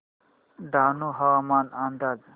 डहाणू हवामान अंदाज